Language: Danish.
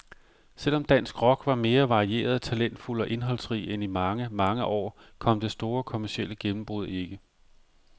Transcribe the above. Selv om dansk rock var mere varieret, talentfuld og indholdsrig end i mange, mange år, kom det store kommercielle gennembrud ikke.